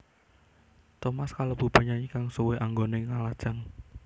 Thomas kalebu penyanyi kang suwé anggoné nglajang